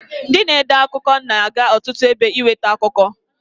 Ndị na-ede akụkọ na-aga ọtụtụ ebe inwete akụkọ.